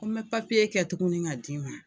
Ko me papiye kɛ tuguni k'a d'i ma